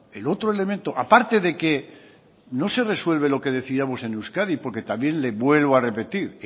el otro elemento aparte de que no se resuelve lo que decidamos en euskadi porque también le vuelvo a repetir